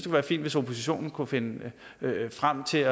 være fint hvis oppositionen kunne finde frem til